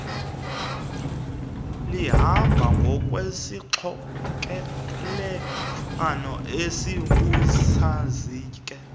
lihamba ngokwesixokelelwano esibusazinge